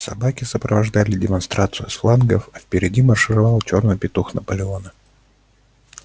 собаки сопровождали демонстрацию с флангов а впереди маршировал чёрный петух наполеона